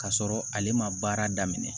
K'a sɔrɔ ale ma baara daminɛ